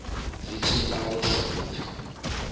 zwi tshi aluswa hu pfi